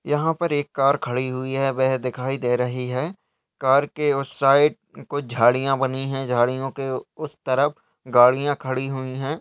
यहाँ पर एक कार खड़ी हुई है वैह दिखाई दे रही है। कार के उस साइड कुछ झाड़ियां बनी है झाड़ियां के उस तरफ गाड़ियां खड़ी हुई है।